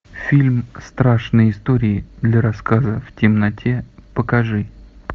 фильм страшные истории для рассказа в темноте покажи